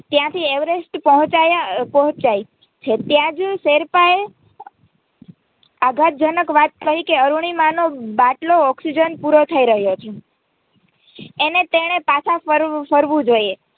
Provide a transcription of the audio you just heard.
ત્યાંથી એવેરેસ્ટ પ્હોંચાય છે ત્યાં જ શેરપાએ આઘાતજનક વાત કહી કે અરૂણિમાનો બાટલો Oxygen પૂરો થઇ રહ્યો છે એણે તેણે પાછા ફરવું જોઈએ.